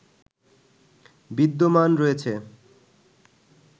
বিদ্যমান রয়েছ